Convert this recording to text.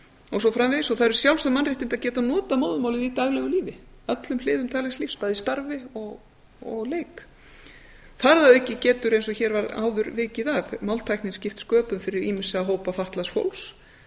og svo framvegis það eru sjálfsögð mannréttindi að geta notað móðurmálið í daglegu lífi öllum hliðum daglegs lífs bæði í starfi og leik þar að auki getur eins og hér var áður vikið að máltæknin skipt sköpum fyrir ýmsa hópa fatlaðs fólks